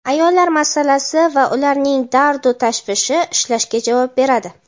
ayollar masalasi va ularning dardu-tashvishi ishlashga javob beradi.